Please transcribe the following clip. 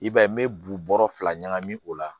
I b'a ye n bɛ bu bɔrɔ fila ɲagami o la